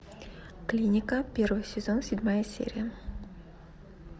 клиника первый сезон седьмая серия